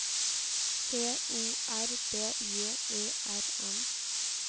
T O R B J Ø R N